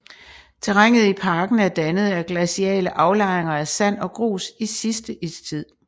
Terrænet i parken er dannet af glaciale aflejringer af sand og grus i sidste istid